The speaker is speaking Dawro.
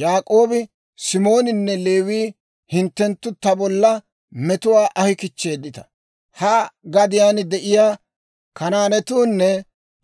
Yaak'oobi Simoonanne Leewiyaa, «Hinttenttu ta bolla metuwaa ahi kichcheedditta; ha gadiyaan de'iyaa Kanaanatuunne